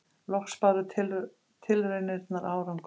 Loks báru tilraunirnar árangur.